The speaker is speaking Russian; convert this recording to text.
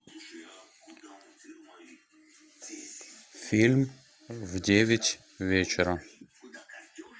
фильм в девять вечера